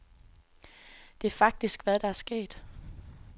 Det er faktisk hvad der er sket.